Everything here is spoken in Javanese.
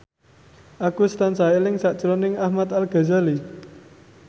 Agus tansah eling sakjroning Ahmad Al Ghazali